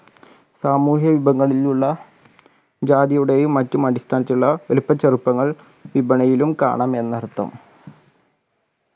സാമൂഹിക വിഭവങ്ങളിലുള്ള ജാതിയുടെയും മറ്റും അടിസ്ഥാനത്തിലുള്ള വലിപ്പച്ചെറുപ്പങ്ങൾ വിപണിയിലും കാണാം എന്നർത്ഥം